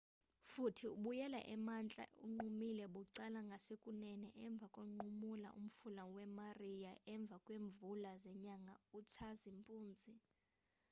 futhi ubuyele emantla unqumule bucala ngasekunene emva konqumula umfula we-maria emva kweemvula zenyanga utshazimpuzi